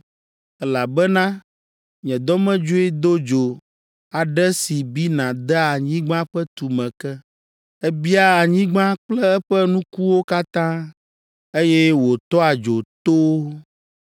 Elabena nye dɔmedzoe do dzo aɖe si bina dea anyigba ƒe tume ke. Ebia anyigba kple eƒe nukuwo katã, eye wòtɔa dzo towo.